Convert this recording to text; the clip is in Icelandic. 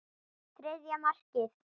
Þriðja markið.